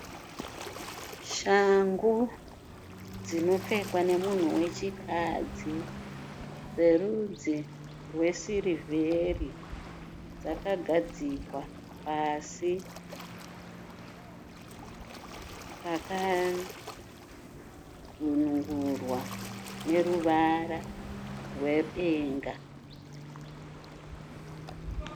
Shangu dzinopfekwa nemunhu wechikadzi dzerudzi rwesirivheri dzakagadzikwa pasi pakadzonongorwa neruvara rwedenga.